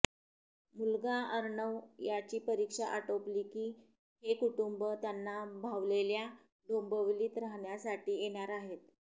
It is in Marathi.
मुलगा अर्णव याची परीक्षा आटोपली की हे कुटुंब त्यांना भावलेल्या डोंबिवलीत राहण्यासाठी येणार आहेत